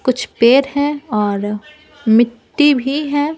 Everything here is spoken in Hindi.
कुछ पेड़ हैं और मिट्टी भी है।